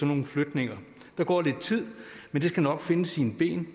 nogle flytninger der går lidt tid men det skal nok finde sine ben